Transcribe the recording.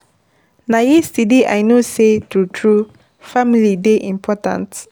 Na yesterday I know sey true-true family dey very important.